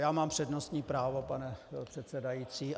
Já mám přednostní právo, pane předsedající.